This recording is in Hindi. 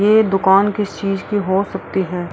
ये दुकान किस चीज़ की हो सकती है।